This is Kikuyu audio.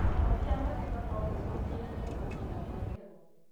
Gĩko kĩa magego nogĩcũngĩrĩrie gũbutha kwa igego